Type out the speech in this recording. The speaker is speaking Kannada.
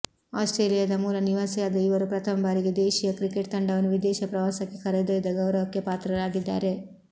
ಆಸ್ಟ್ರೇಲಿಯಾದ ಮೂಲ ನಿವಾಸಿಯಾದ ಇವರು ಪ್ರಥಮ ಬಾರಿಗೆ ದೇಶೀಯ ಕ್ರಿಕೆಟ್ ತಂಡವನ್ನು ವಿದೇಶ ಪ್ರವಾಸಕ್ಕೆ ಕರೆದೊಯ್ದ ಗೌರವಕ್ಕೆ ಪಾತ್ರರಾಗಿದ್ದಾರೆ